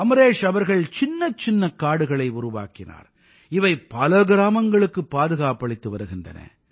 அமரேஷ் அவர்கள் சின்னச்சின்னக் காடுகளை உருவாக்கினார் இவை பல கிராமங்களுக்குப் பாதுகாப்பளித்து வருகின்றன